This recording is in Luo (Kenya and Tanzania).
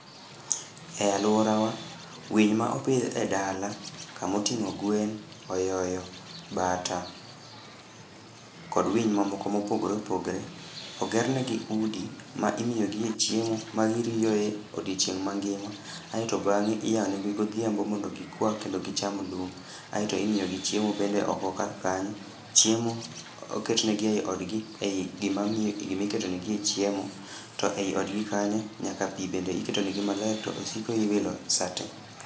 E alwora wa, winy ma opidh e dala kamotingó gwen, oyoyo, bata, kod winy mamoko ma opogore opogore, ogerne gi udi ma imiyogie chiemo. Ma giriyoe odiechieng' mangima. Aeto bangé iyao ne gi godhiambo mondo gikwaa kendo gicham lum. Aeto imiyogi chiemo bende oko kar kanyo. Chiemo oketnegi ei odgi ei gima gimiketonegie chiemo. To ei odgi, nyaka pi bende iketo negi maler, to osiko iwilo sa te.